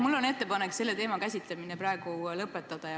Mul on ettepanek selle teema käsitlemine lõpetada.